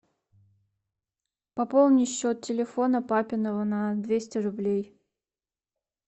пополни счет телефона папиного на двести рублей